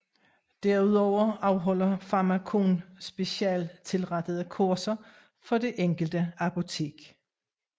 Derudover afholder Pharmakon specialstilrettede kurser for det enkelte apotek